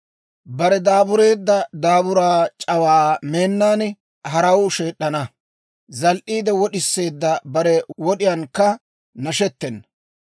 Bare daabureedda daaburaa c'awaa meennaan, haraw sheed'd'ana; zal"iide wod'iseedda bare wod'iyaankka nashettena.